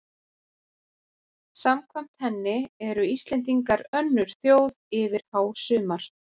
Samkvæmt henni eru Íslendingar önnur þjóð yfir hásumar